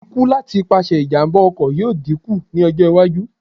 Ikú láti ipasẹ̀ ìjàm̀bá ọkọ̀ yóò dínkù ní ọjọ́-iwájú.